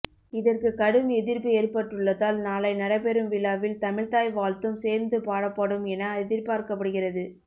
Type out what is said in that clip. இதற்கு கடும் எதிர்ப்பு ஏற்பட்டுள்ளதால் நாளை நடைபெறும் விழாவில் தமிழ் தாய் வாழ்த்தும் சேர்ந்து பாடப்படும் என எதிர்பார்க்கப்படுகிறது